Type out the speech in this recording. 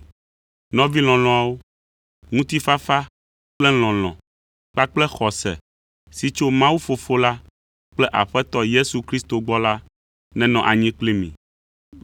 Nɔvi lɔlɔ̃awo, ŋutifafa kple lɔlɔ̃ kpakple xɔse si tso Mawu Fofo la kple Aƒetɔ Yesu Kristo gbɔ la nenɔ anyi kpli mi.